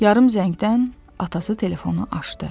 Yarım zəngdən atası telefonu açdı.